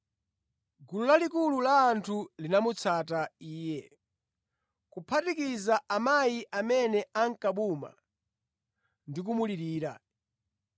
Gulu lalikulu la anthu linamutsata Iye, kuphatikiza amayi amene ankabuma ndi kumulirira.